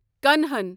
کنہن